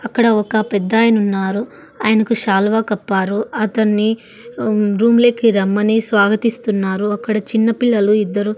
అక్కడ ఒక పెద్దాయన ఉన్నారు ఆయనకు శాలువా కప్పారు అతన్ని రూమ్ లోకి రమ్మని స్వాగతిస్తున్నారు అక్కడ చిన్న పిల్లలు ఇద్దరు.